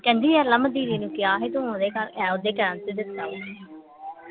ਕਹਿੰਦੀ ਦੀਦੀ ਨੂੰ ਕਿਹਾ ਸੀ ਤਾਂ ਓਹਦੇ ਕਰਕੇ ਓਹਦੇ ਕਹਿਣ ਤੇ ਦਿੱਤਾ ਵਾ